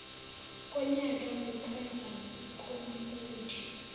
konyaka mukwenza komfundi